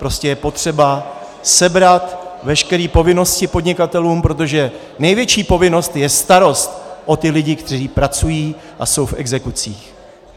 Prostě je potřeba sebrat veškeré povinnosti podnikatelům, protože největší povinnost je starost o ty lidi, kteří pracují a jsou v exekucích.